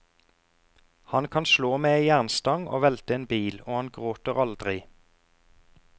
Han kan slå med ei jernstang og velte en bil og han gråter aldri.